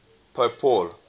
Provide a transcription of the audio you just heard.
pope paul